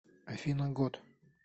афина год